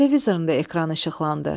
Televizorunda ekran işıqlandı.